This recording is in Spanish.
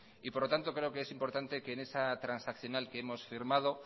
por lo tanto creo que es importante que en esas transaccional que hemos firmado